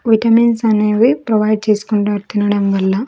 Vitamins అనేవి provide చేసుకుంటారు తినడం వల్ల.